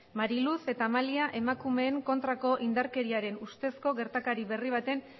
mari luz eta amalia emakumeen kontrako indarkeriaren ustezko gertakari berri baten